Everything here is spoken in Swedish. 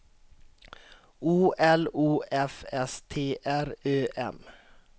O L O F S T R Ö M